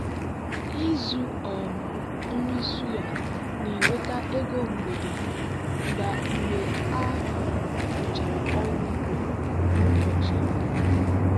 izu um nri suya na-eweta ego mgbede mgbe a um rụchara ọrụ ugbo n'ụbọchị. um